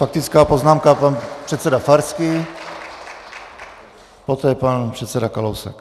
Faktická poznámka, pan předseda Farský, poté pan předseda Kalousek.